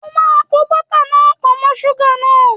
O máa po bọ́tà náà pọ̀ mọ́ súgà náà!